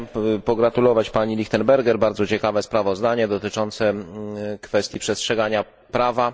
Chciałem pogratulować pani Lichtenberger bardzo ciekawe sprawozdanie dotyczące kwestii przestrzegania prawa.